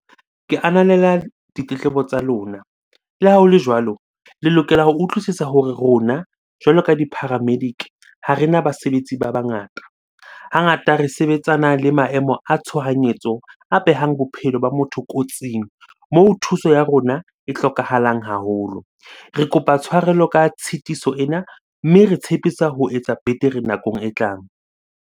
Ke ananela ditletlebo tsa lona. Le ha hole jwalo, le lokela ho utlwisisa hore rona jwalo ka di-paramedic ha rena basebetsi ba bangata. Hangata re sebetsana le maemo a tshohanyetso a behang bophelo ba motho kotsing, moo thuso ya rona e hlokahalang haholo. Re kopa tshwarelo ka tshitiso ena, mme re tshepisa ho etsa betere nakong e tlang.